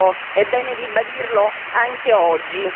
Questo è bene ribadirlo anche oggi.